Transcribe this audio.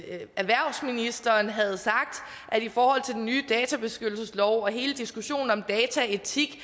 at erhvervsministeren havde sagt at i forhold til den nye databeskyttelseslov og hele diskussionen om dataetik